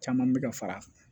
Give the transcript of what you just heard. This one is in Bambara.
Caman bɛ ka fara a kan